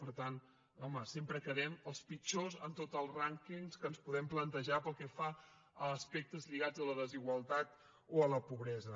per tant home sempre quedem els pitjors en tots els rànquings que ens podem plantejar pel que fa a aspectes lligats a la desigualtat o a la pobresa